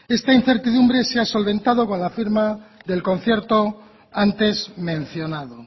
esta incertidumbre se ha solventado con la firma del concierto antes mencionado